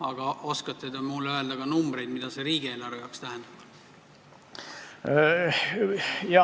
Aga oskate te mulle öelda numbreid, mida see riigieelarve jaoks tähendab?